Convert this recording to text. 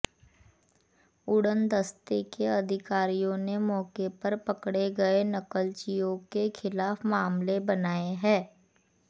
उड़नदस्ते के अधिकारियों ने मौके पर पकड़े गए नकलचियों के खिलाफ मामले मनाए है